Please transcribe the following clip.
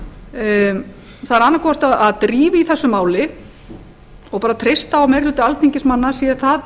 það er annaðhvort að drífa í þessu máli og treysta á að meiri hluti alþingismanna sé það